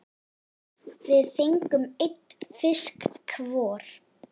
Við fengum einn fisk hvor.